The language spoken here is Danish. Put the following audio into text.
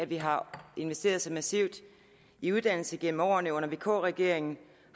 vi har investeret så massivt i uddannelse gennem årene under vk regeringen